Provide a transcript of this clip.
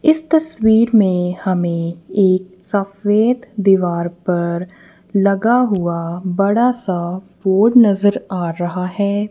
इस तस्वीर में हमे एक सफेद दीवार पर लगा हुआ बड़ा सा बोर्ड नजर आ रहा है।